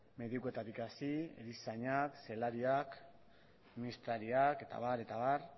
medikuetatik hasi erizainak zelariak administrariak eta abar eta abar